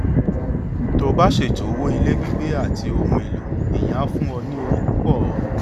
tó o bá ṣètò owó ilé gbígbé àti ohun èlò ìyẹn á fún ọ ní owó púpọ